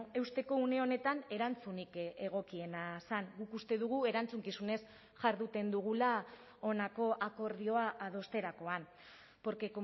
eusteko une honetan erantzunik egokiena zen guk uste dugu erantzukizunez jarduten dugula honako akordioa adosterakoan porque